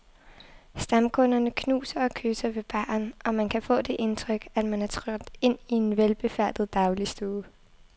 Stamkunderne knuser og kysser ved baren, og man kan få det indtryk, at man er trådt ind i en velbefærdet dagligstue.